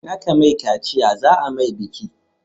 In a ka mai kaciya za a mai biki